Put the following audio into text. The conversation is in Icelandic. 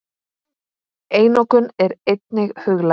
Einokun er einnig huglæg.